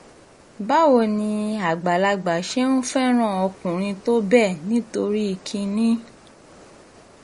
báwo ni àgbàlagbà ṣe ń fẹ́ràn ọkùnrin tó bẹ́ẹ̀ nítorí kínní